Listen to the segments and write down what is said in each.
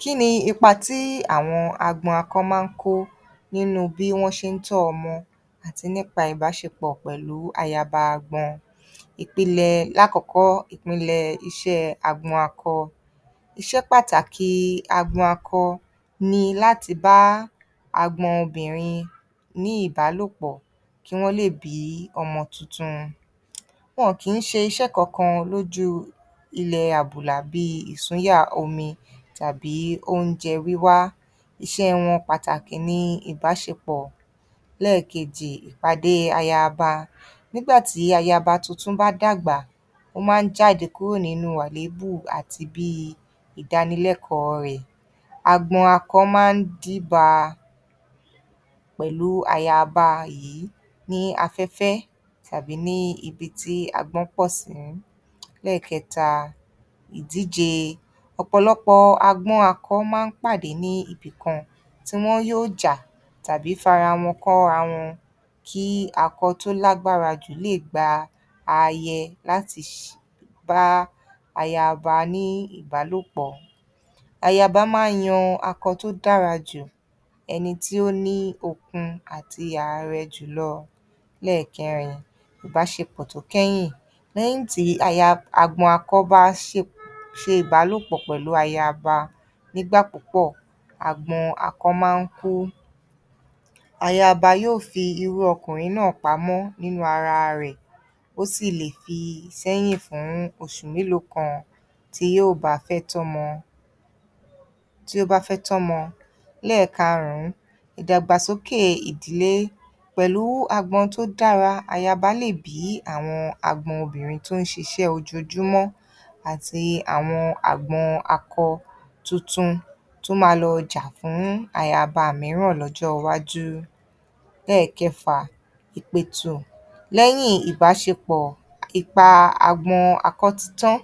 Kí ni ipa tí àwọn agbọn akọ máa ń kó nínú bí wọ́n ṣe ń tọ́ ọmọ àti nípa ìbáṣepọ̀ pẹ̀lú ayaba agbọn. Ìpìlẹ̀, lákọ̀ọ́kọ́, ìpìnlẹ̀ iṣẹ́ agbọ akọ. Iṣẹ́ pàtàkì agbọn akọ ni láti bá agbọ obìnrin ní ìbálòpọ̀ kí wọ́n lè bí ọmọ tuntun. Wọn kìí n ṣe iṣẹ́ kankan lójú ilẹ̀ àbùlà bíi ìsúnyà omi tàbí oúnjẹ wíwá. Iṣẹ́ wọn pàtàkì ni ìbáṣepẹ̀. Lẹ́ẹ̀kejì, ìpàdé ayaba. Nígbà tí ayaba tuntun bá dàgbà, ó máa ń jáde kúrò nínú àléébù àti bíi ìdánilẹ́kọ̀ọ́ rẹ̀. Agbọn akọ máa ń díba pẹ̀lú ayaba yìí ní afẹ́fẹ́ tàbí ní ibi tí agbọn pọ̀ sí. Lẹ́ẹ̀kẹta, ìdíje. Ọ̀pọ̀lọpọ̀ agbọ́ akọ máa n pàdé ní ibìkan tí wọn yóò jà tàbí fara wọn kọ́rawọn kí akọ tó lágbára jù le gba aayẹ láti ṣe, láti bá ayaba ní ìbálòpọ̀. Ayaba máa ń yan akọ tó dára jù, ẹni tí ó ní okun àti àarẹ jùlọ. Lẹ́ẹ̀kẹrin, ìbáṣepọ̀ tó kẹ́yìn. Lẹ́yìn tí aya, agbọn akọ bá ṣe, ṣe ìbálòpọ̀ pẹ̀lú ayaba nígbà púpọ̀, agbọn akọ máa ń kú. Ayaba yóò fi iru ọkùnrin náà pamọ́ nínú ara rẹ̀, ó sì lè fi sẹ́yìn fún oṣù mélòó kan tí yóò bá fẹ́ tọ́mọ, tí ó bá fẹ́ tọ́mọ. Lẹ́ẹ̀karùn-ún, ìdàgbàsókè ìdílé. Pẹ̀lú agbọn tó dára, ayaba lè bí àwọn agbọn obìnrin tó n ṣiṣẹ́ ojoojúmọ́ àti àwọn agbọn akọ tuntun tó máa lọ jà fún ayaba mìíràn lọ́jọ́ọ wájú. Lẹ́ẹ̀kẹfà, ìpètù. Lẹ́yìn ìbáṣepọ̀, ipa agbọn akọ ti tán.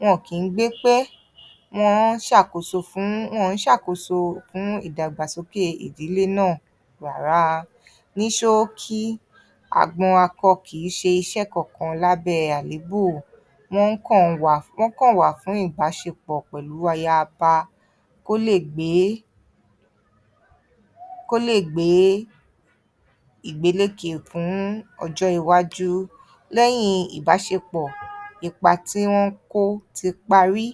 Wọn ò kí ń gbé pẹ́, wọ́n ṣàkóso fún, wọn ń ṣàkóso fún ìdàgbàsókè ìdílé náà rárá. Ní ṣóókí, agbọn akọ kìí ṣe iṣẹ́ kankan lábẹ́ ẹ àléébù. Wọ́n ń kàn wa, wọ́n kàn wà fún ibáṣepọ̀ pẹ̀lú ayaba kó lè gbé, kó lè gbé igbélékè fún ọjọ́ iwájú. Lẹ́yìn ìbáṣepọ̀, ipa tí wọ́n ń kó ti parí.